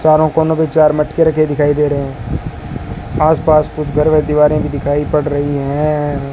चारों कोनों पे चार मटके रखे दिखाई दे रहे हैं आसपास कुछ घर व दीवारें भी दिखाई पड़ रही हैं।